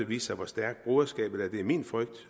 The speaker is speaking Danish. vise sig hvor stærkt broderskabet er det er min frygt